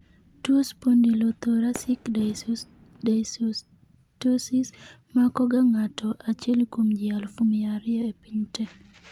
tuwo spondylothoracic dysostosis. makoga ng'ato achiel kuom ji aluf mia ariyo e piny te